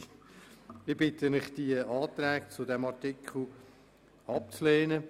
Ich bitte Sie, die Anträge zu diesem Artikel abzulehnen.